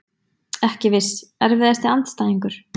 Ekki viss Erfiðasti andstæðingur?